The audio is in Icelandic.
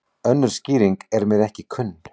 Önnur skýring er mér ekki kunn.